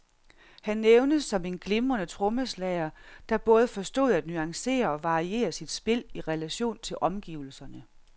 Han nævnes som en glimrende trommeslager, der både forstod at nuancere og variere sit spil i relation til omgivelserne.